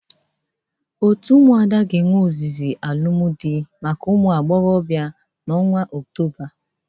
Otu ụmụada ga-ewe ozizi alụmdị maka ụmụ agboghọbịa n'ọnwa ọktoba.